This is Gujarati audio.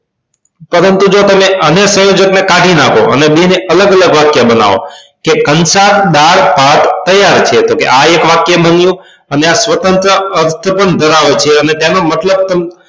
પરંતુ જો તમે અને સંયોજક ને કાઢી નાખો અને બેય ને અલગ અલગ વાક્ય બનાવો કે કંસાર દાળ ભાત તૈયાર છે તો આ એક વાક્ય બન્યું અને આ સ્વતંત્ર અર્થ પણ ધરાવે છે અને મતલબ તમે